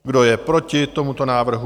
Kdo je proti tomuto návrhu?